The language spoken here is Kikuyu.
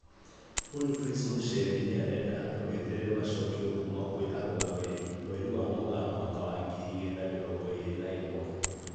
Boniface Musembi nĩarenda andũ meterere macokio kuma kwĩ arũgamĩrĩri, mweri wa Mũgaa mwaka wa ngiri igĩrĩ na mĩrongo ĩrĩ na ĩmwe